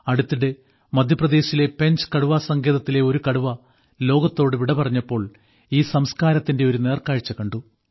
അടുത്തിടെ മദ്ധ്യപ്രദേശിലെ പെഞ്ച് കടുവാസങ്കേതത്തിലെ ഒരു കടുവ ലോകത്തോട് വിട പറഞ്ഞപ്പോൾ ഈ സംസ്കാരത്തിന്റെ ഒരു നേർക്കാഴ്ച കണ്ടു